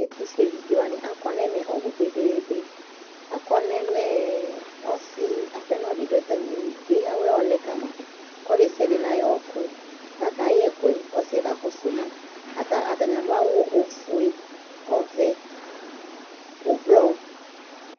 Ɛtʋfuevidze wanɩ akɔ n'ɛmɛ ɔbʋ kpekpekpe : akɔ n'ɛmɛ ɔsɩ apɛnɔdɩ dʋ atamili, k'eyǝwɛ yɔlɛ ka ma Ɔlʋ desiade n'ayɔɔkʋ K'aka yɛ ɛkʋɛ k'ɔsɩɛ kakɔsʋ ma Atanɩ adʋ awʋ ofue, ɔvɛ, ʋblɔ